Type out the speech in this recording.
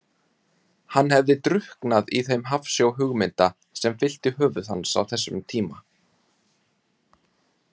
Hann hefði drukknað í þeim hafsjó hugmynda sem fyllti höfuð hans á þessum tíma.